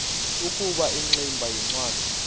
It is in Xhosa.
ukuba ingximba yincwadi